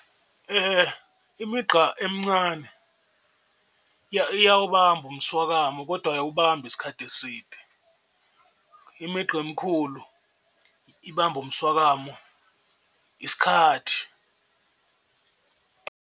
Imigqa emncane iyawubamba umswakamo kodwa ayiwubambi isikhathi eside, imigqa emikhulu ibamba umswakamo isikhathi.